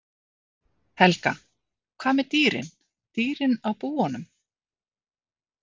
Helga: Hvað með dýrin, dýrin á búunum?